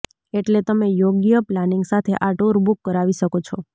એટલે તમે યોગ્ય પ્લાનિંગ સાથે આ ટૂર બૂક કરાવી શકો છો